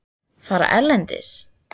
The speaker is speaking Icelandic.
Fara erlendis?